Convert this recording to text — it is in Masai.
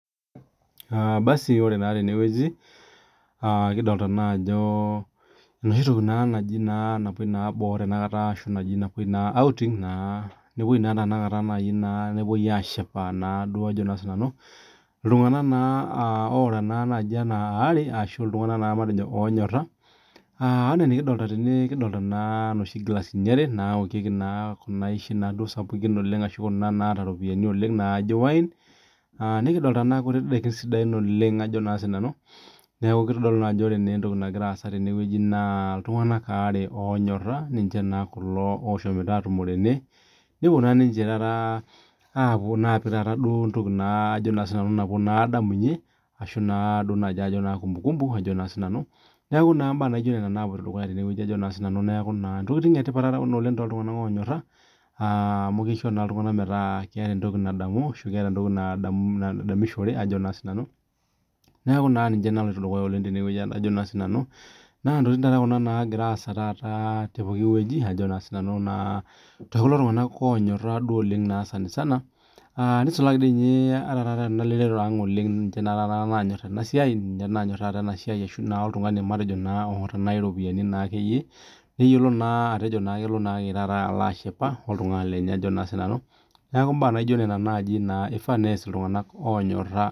Basi ore naa tenewueji naa enoshi naa ena napoi boo aa taa outing iltunganak naa waare oonyora nikidoolta naa eeta inkilasini are inoshi naokieki inshaishi naaji wines ninosita indaikin sidain neeku naa iltunganak naa waare oonyora looyetuo aatumo neponu aapik naa entoki nadamunye naa enyorata enye aa taa kumbukumbu entoki naa etipat ena toltunganak oonyora amu kisho naa metadamunoto neeku naa intoking naa kuna naagira aasa naa toltunganak oonyora naa, Ore ninye teneeta iropiani nejo naa ake peelo naa aashipa naa oltungani lenye neeku imbaa naijo nena ifaa nees iltunganak oonyora